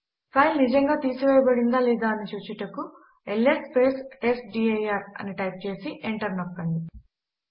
file నిజంగా తీసివేయబడిందా లేదా అని చూచుటకు ల్స్ టెస్ట్డిర్ అని టైప్ చేసి ఎంటర్ నొక్కండి